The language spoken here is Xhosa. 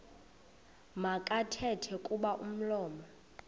makathethe kuba umlomo